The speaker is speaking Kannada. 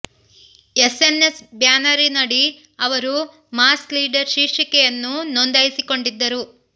ಎಸ್ ಎನ್ ಎಸ್ ಬ್ಯಾನರಿನಡಿ ಅವರು ಮಾಸ್ ಲೀಡರ್ ಶೀರ್ಷಿಕೆಯನ್ನು ನೋಂದಾಯಿಸಿಕೊಂಡಿದ್ದರು